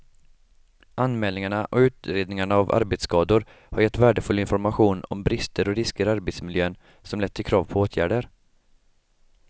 Anmälningarna och utredningarna av arbetsskador har gett värdefull information om brister och risker i arbetsmiljön som lett till krav på åtgärder.